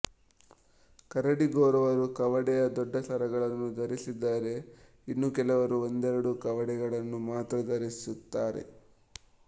ಕರಡಿ ಗೊರವರು ಕವಡೆಯ ದೊಡ್ಡ ಸರಗಳನ್ನು ಧರಿಸಿದರೆ ಇನ್ನು ಕೆಲವರು ಒಂದೆರಡು ಕವಡೆಗಳನ್ನು ಮಾತ್ರ ಧರಿಸುತ್ತಾರೆ